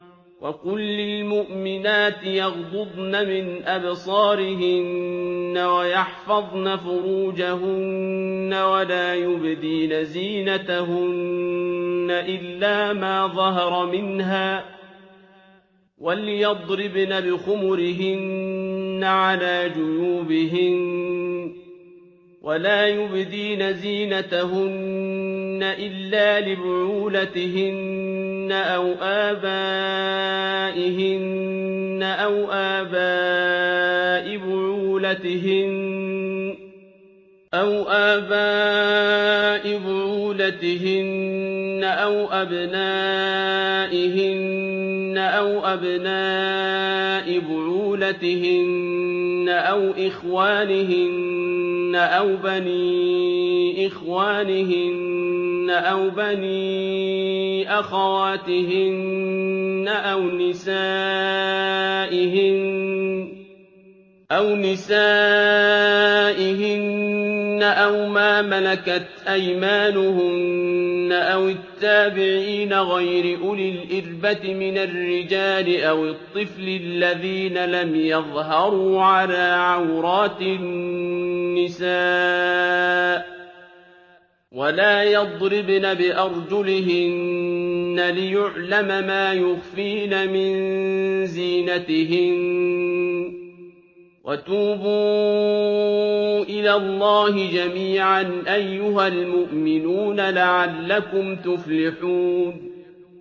وَقُل لِّلْمُؤْمِنَاتِ يَغْضُضْنَ مِنْ أَبْصَارِهِنَّ وَيَحْفَظْنَ فُرُوجَهُنَّ وَلَا يُبْدِينَ زِينَتَهُنَّ إِلَّا مَا ظَهَرَ مِنْهَا ۖ وَلْيَضْرِبْنَ بِخُمُرِهِنَّ عَلَىٰ جُيُوبِهِنَّ ۖ وَلَا يُبْدِينَ زِينَتَهُنَّ إِلَّا لِبُعُولَتِهِنَّ أَوْ آبَائِهِنَّ أَوْ آبَاءِ بُعُولَتِهِنَّ أَوْ أَبْنَائِهِنَّ أَوْ أَبْنَاءِ بُعُولَتِهِنَّ أَوْ إِخْوَانِهِنَّ أَوْ بَنِي إِخْوَانِهِنَّ أَوْ بَنِي أَخَوَاتِهِنَّ أَوْ نِسَائِهِنَّ أَوْ مَا مَلَكَتْ أَيْمَانُهُنَّ أَوِ التَّابِعِينَ غَيْرِ أُولِي الْإِرْبَةِ مِنَ الرِّجَالِ أَوِ الطِّفْلِ الَّذِينَ لَمْ يَظْهَرُوا عَلَىٰ عَوْرَاتِ النِّسَاءِ ۖ وَلَا يَضْرِبْنَ بِأَرْجُلِهِنَّ لِيُعْلَمَ مَا يُخْفِينَ مِن زِينَتِهِنَّ ۚ وَتُوبُوا إِلَى اللَّهِ جَمِيعًا أَيُّهَ الْمُؤْمِنُونَ لَعَلَّكُمْ تُفْلِحُونَ